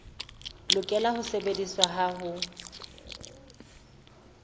lokela ho sebediswa ha ho